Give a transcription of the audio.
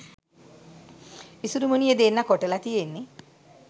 ඉසුරුමුණියෙ දෙන්නා කොටලා තියෙන්නේ